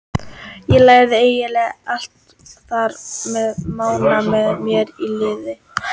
Ég lærði eiginlega allt þar með Mána með mér í liði.